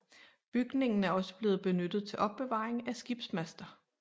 Bygningen er også blevet benyttet til opbevaring af skibsmaster